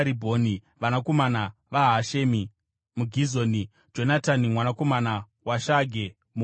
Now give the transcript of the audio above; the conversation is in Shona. vanakomana vaHashemi muGizoni, Jonatani mwanakomana waShage muHarari,